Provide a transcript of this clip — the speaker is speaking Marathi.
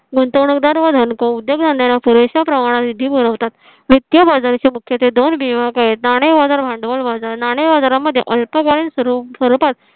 गुंतवणूकदार व धनको उद्योगधंद्यांला पुरेशा प्रमाणात निधी पूरवतात. वित्तीय बाजाराचे मुख्य ते दोन विभाग आहेत नाणे बाजार आणि भांडवल बाजार नाणे बाजारामध्ये अल्प स्वरूपात